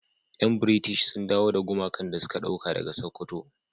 Yan "British " sun dawo da gumakan da suka dauka daga sokoto.